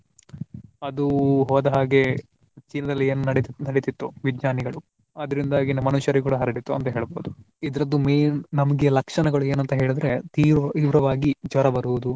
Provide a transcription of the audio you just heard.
ಅದು ಹೋದ ಹಾಗೆ ಚೀನಾದಲ್ಲಿ ಏನ್ ನಡಿತ್~ ನಡಿತಿತ್ತು ವಿಜ್ಞಾನಿಗಳು ಅದರಿಂದಾಗಿ ಮನುಷ್ಯರಿಗೂ ಕೂಡಾ ಹರಡ್ತಿತ್ತು ಅಂತ ಹೇಳಬಹುದು. ಇದ್ರದ್ದು main ನಮ್ಗೆ ಲಕ್ಷಣಗಳು ಏನಂತ ಹೇಳಿದ್ರೆ ತೀವ್~ ತೀವ್ರವಾಗಿ ಜ್ವರ ಬರುವುದು